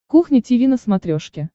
кухня тиви на смотрешке